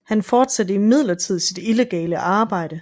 Han fortsatte imidlertid sit illegale arbejde